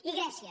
i grècia